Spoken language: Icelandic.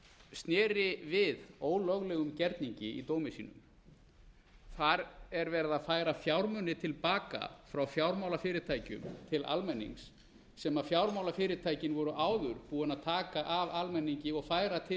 sneri við ólöglegum gerningi í dómi sínum þar er verið að færa fjármuni til baka frá fjármálafyrirtækjum til almennings sem fjármálafyrirtækin voru áður búin að taka af almenningi og færa til